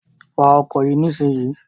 Wa ọkọ̀ yìí nísìnyí!